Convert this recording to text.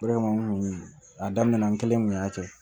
Baara in a daminɛ na n kelen kun y'a kɛ